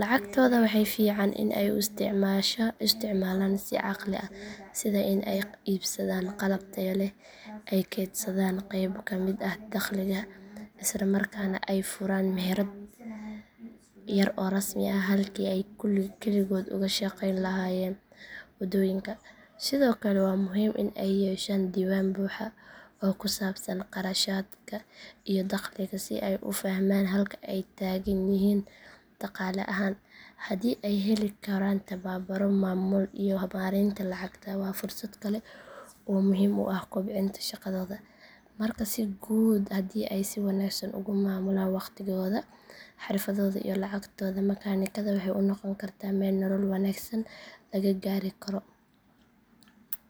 Lacagtooda waxaa fiican in ay u isticmaalaan si caqli ah sida in ay iibsadaan qalab tayo leh, ay kaydsadaan qayb ka mid ah dakhliga, isla markaana ay furaan meherad yar oo rasmi ah halkii ay keligood uga shaqeyn lahaayeen waddooyinka. Sidoo kale waa muhiim in ay yeeshaan diiwaan buuxa oo ku saabsan kharashaadka iyo dakhliga si ay u fahmaan halka ay taagan yihiin dhaqaale ahaan. Haddii ay heli karaan tababarro maamul iyo maareynta lacagta waa fursad kale oo muhiim u ah kobcinta shaqadooda. Marka si guud haddii ay si wanaagsan ugu maamulaan waqtigooda, xirfaddooda iyo lacagtooda makaanikada waxay u noqon kartaa meel nolol wanaagsan laga gaari karo.